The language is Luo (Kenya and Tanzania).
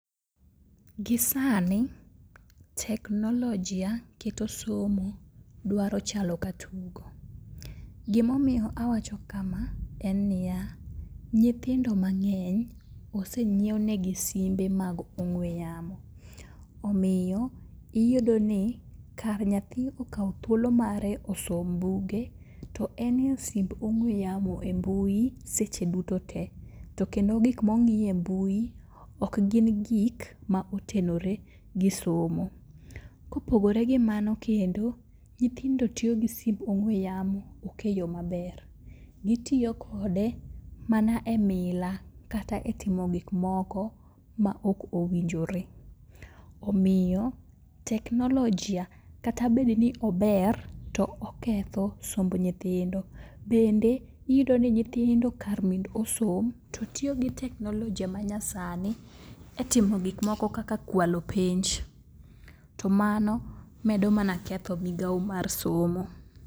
Gi sani teknolojia keto somo dwaro chalo ka tugo. Gimomiyo awacho kama en niya, nyithindo mang'eny osenyiewnegi simbe mag ong'we yamo, omiyo iyudo ni kar nyathi okaw thuolo mar osom buge to en e simb ong'we yamo e mbui seche duto te. To kendo gikmong'iyo e mbui okgin gik ma otenore gi somo. Kopogore gi mano kendo, nyithindo tiyo gi simb ong'we yamo ok e yo maber. Gitiyo kode mana e mila kata e timo giokmoko maok owinjore. Omiyo teknolojia kata bedni ober to oketho somb nyithindo, bende iyudo ni nyithindo kar mondo osom to tiyo gi teknolojia manyasani e timo gikmoko kaka kwalo penj to mano medo mana ketho migao mar somo.